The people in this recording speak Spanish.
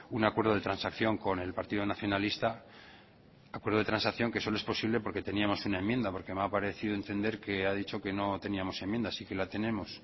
un acuerdo de transacción con el partido nacionalista acuerdo de transacción que solo es posible porque teníamos una enmienda porque me ha parecido entender que ha dicho que no teníamos enmienda sí que la tenemos